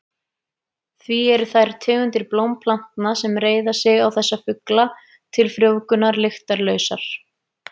Því eru þær tegundir blómplantna sem reiða sig á þessa fugla til frjóvgunar lyktarlausar.